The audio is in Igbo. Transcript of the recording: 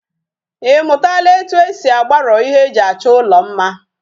Imutala etu esi agbaro ihe eji acho ulo mma?